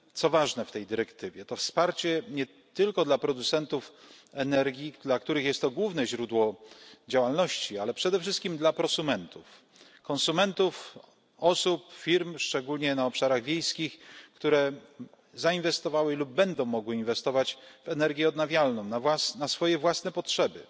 Co ważne w tej dyrektywie, to wsparcie nie tylko dla producentów energii, dla których jest to główne źródło działalności, ale przede wszystkim dla prosumentów, czyli konsumentów, osób, firm szczególnie na obszarach wiejskich które zainwestowały lub będą mogły inwestować w energię odnawialną na swoje własne potrzeby,